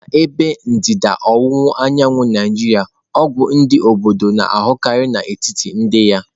N'ebe ndịda ọwụwa anyanwụ Naijiria ọgwụ ndị obodo na-ahụkarị n'etiti ndị ya.